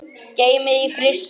Geymið í frysti.